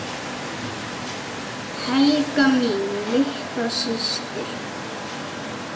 Helga mín litla systir.